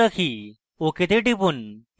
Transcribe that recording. ok তে টিপুন